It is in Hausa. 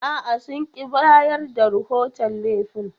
A'a, sun ƙi bayar da rahoton laifin.